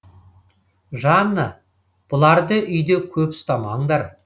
жанна бұларды үйде көп ұстамаңдар